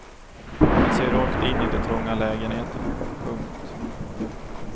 Man ser rakt in i de trånga lägenheterna. punkt